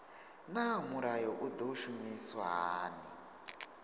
naa mulayo u do shumiswa hani